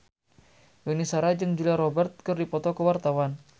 Yuni Shara jeung Julia Robert keur dipoto ku wartawan